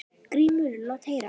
GRÍMUR: Lát heyra!